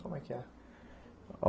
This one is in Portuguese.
Como é que é?